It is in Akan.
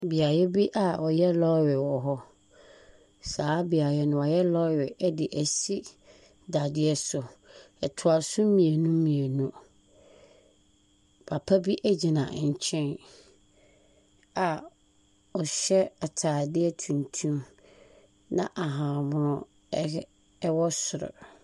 Beaeɛ bi a wɔyɛ lɔɔre wɔ hɔ, saa beaeɛ no, wɔyɛ lɔɔre de si dadeɛ so, ɛtoa so mmienu mmienu. Papa bi gyina nkyɛn a ɔhyɛ ataade tuntum na ahahanmono hyɛ wɔ soro.